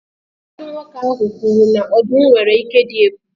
Tiger nwere ike ịdị oke egwu, agadi nwoke ahụ kwuru